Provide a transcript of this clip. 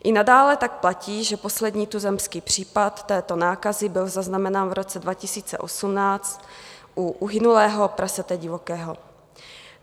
I nadále tak platí, že poslední tuzemský případ této nákazy byl zaznamenán v roce 2018 u uhynulého prasete divokého.